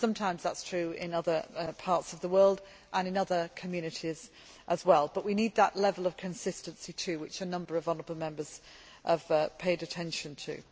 Sometimes, that is true in other parts of the world, and in other communities as well, but we also need that level of consistency which a number of honourable Members have paid attention to.